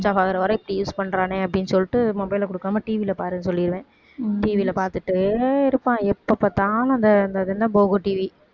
switch off ஆகற வரை இப்படி use பண்றானே அப்படின்னு சொல்லிட்டு mobile அ கொடுக்காம TV ல பாருன்னு சொல்லிடுவேன் TV ல பாத்துட்டே இருப்பான் எப்ப பாத்தாலும் அந்த அந்த அது என்ன போகோ TV